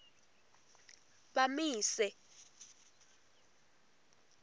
bamise